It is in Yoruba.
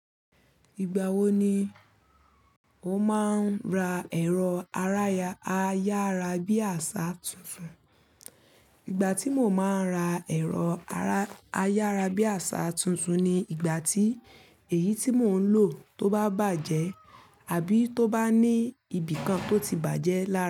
Ìgbà wo ni o máa ń ra ẹ̀rọ ayárabíàṣá tuntun? Ìgbà tí mo máa ń ra ẹ̀rọ ayárabíàṣá tuntun ni ìgbà tí èyí tí mò ń lò tó bá bàjẹ́ àbí tó bá ní ibìkan tó ti bàjẹ́ lára.